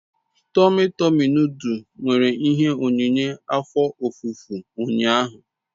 Tomi Tomi noduls mere ihe onyinye afo ofufo unyahu